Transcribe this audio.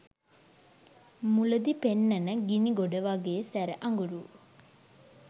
මුලදි පෙන්නන ගිණි ගොඩ වගේ සැර අඟුරු